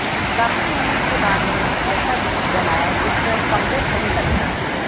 काफी मेहनत के बाद उन्होंने एक ऐसा बीज बनाया जिस पर फंगस नहीं लगता